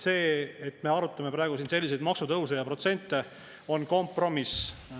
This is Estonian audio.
See, et me arutame praegu siin selliseid maksutõuse ja protsente, on kompromiss.